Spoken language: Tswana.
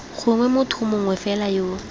gongwe motho mongwe fela yo